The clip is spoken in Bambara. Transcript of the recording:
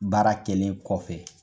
Baara kelen kɔfɛ